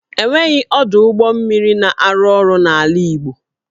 E nweghị ọdụ ụgbọ mmiri na-arụ ọrụ n'ala Igbo